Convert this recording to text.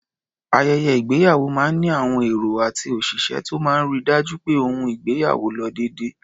Ayẹyẹ ìgbéyàwó máa ń ní àwọn èrò àti òṣìṣẹ́ tó máa ń ri dájú pé ohun gbogbo lo déédé.